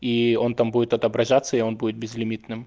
и он там будет отображаться и он будет безлимитным